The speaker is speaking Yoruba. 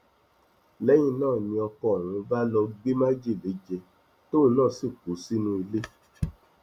lẹyìn náà ni ọkọ ọhún bá lọọ gbé májèlé jẹ tóun náà sì kú sínú ilé